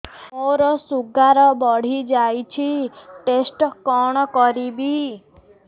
ମୋର ଶୁଗାର ବଢିଯାଇଛି ଟେଷ୍ଟ କଣ କରିବି